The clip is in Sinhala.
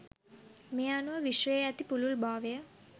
මේ අනුව විශ්වයේ ඇති පුළුල්භාවය